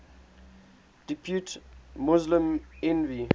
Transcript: depute muslim envoy